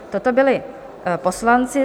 Toto byli poslanci.